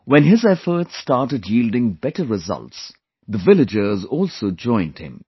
When his efforts started yielding better results, the villagers also joined him